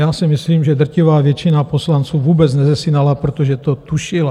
Já si myslím, že drtivá většina poslanců vůbec nezesinala, protože to tušila.